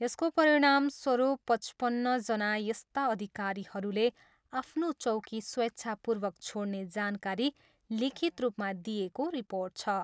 यसको परिणामस्वरूप पचपन्नजना यस्ता अधिकारीहरूले आफ्नो चौकी स्वेच्छापूर्वक छोड्ने जानकारी लिखित रूपमा दिएको रिर्पोट छ।